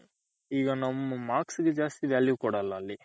ಈಗ ನಮ್ಮ marks ಗೆ ಜಾಸ್ತಿ value ಕೊಡಲ್ಲ ಅಲ್ಲಿ